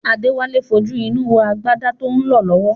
Adéwálé ń fojú inú wo agbádá tó ń lọ lọ́wọ́